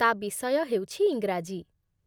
ତା' ବିଷୟ ହେଉଛି ଇଂରାଜୀ